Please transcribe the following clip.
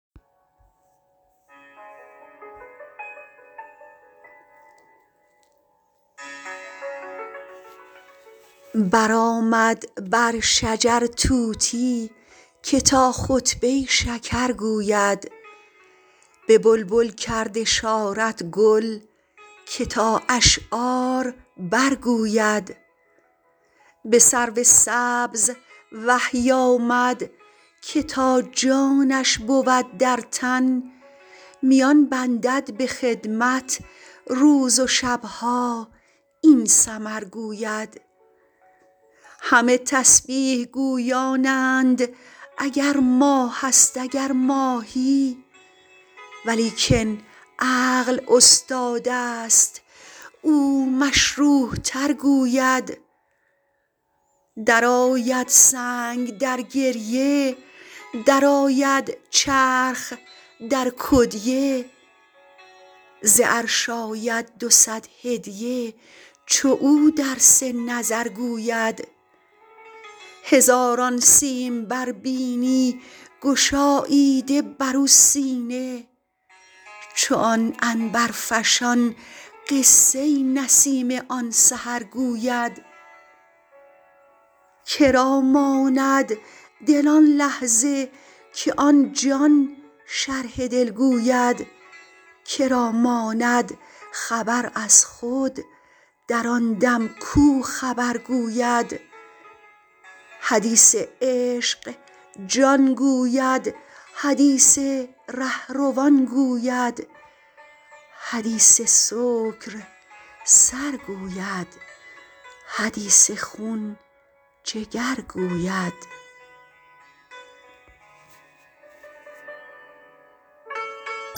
برآمد بر شجر طوطی که تا خطبه ی شکر گوید به بلبل کرد اشارت گل که تا اشعار برگوید به سرو سبز وحی آمد که تا جانش بود در تن میان بندد به خدمت روز و شب ها این سمر گوید همه تسبیح گویانند اگر ماهست اگر ماهی ولیکن عقل استادست او مشروح تر گوید درآید سنگ در گریه درآید چرخ در کدیه ز عرش آید دو صد هدیه چو او درس نظر گوید هزاران سیمبر بینی گشاییده بر و سینه چو آن عنبرفشان قصه ی نسیم آن سحر گوید که را ماند دل آن لحظه که آن جان شرح دل گوید که را ماند خبر از خود در آن دم کو خبر گوید حدیث عشق جان گوید حدیث ره روان گوید حدیث سکر سر گوید حدیث خون جگر گوید